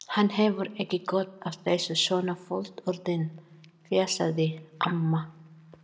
Hann hefur ekki gott af þessu svona fullorðinn, fjasaði amma.